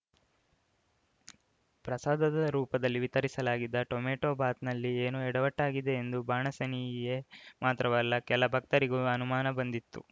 ಪ್ರಸಾದದ ರೂಪದಲ್ಲಿ ವಿತರಿಸಲಾಗಿದ್ದ ಟೊಮೆಟೋ ಬಾತ್‌ನಲ್ಲಿ ಏನೋ ಎಡವಟ್ಟಾಗಿದೆ ಎಂದು ಬಾಣಸಿನಿಗೆ ಮಾತ್ರವಲ್ಲ ಕೆಲ ಭಕ್ತರಿಗೂ ಅನುಮಾನ ಬಂದಿತ್ತು